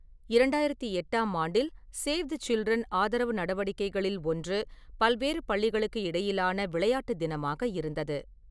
இரண்டாயிரத்து எட்டாம் ஆண்டில், சேவ் தி சில்ட்ரன் ஆதரவு நடவடிக்கைகளில் ஒன்று பல்வேறு பள்ளிகளுக்கு இடையிலான விளையாட்டு தினமாக இருந்தது.